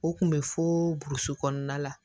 O kun bɛ foo burusi kɔnɔna la